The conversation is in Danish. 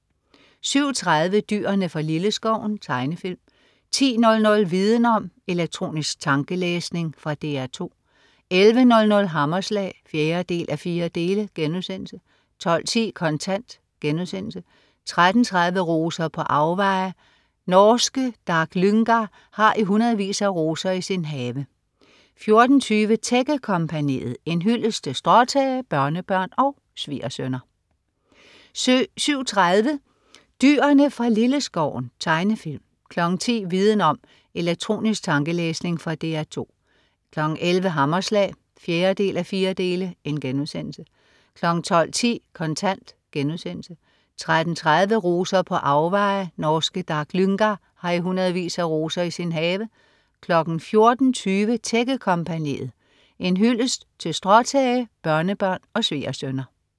07.30 Dyrene fra Lilleskoven. Tegnefilm 10.00 Viden om: Elektronisk tankelæsning. Fra DR 2 11.00 Hammerslag 4:4* 12.10 Kontant* 13.30 Roser på afveje. Norske Dag Lyngar har i hundredvis af roser i sin have 14.20 Tækkekompagniet. En hyldest til stråtage, børnebørn og svigersønner